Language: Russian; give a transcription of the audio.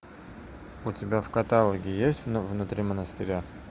у тебя в каталоге есть внутри монастыря